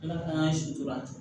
Ala k'an sutura ten